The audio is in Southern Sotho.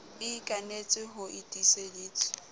e ikanetswe ho e tiiseditswe